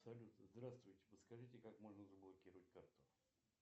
салют здравствуйте подскажите как можно заблокировать карту